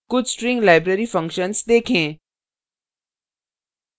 कुछ string library functions देखें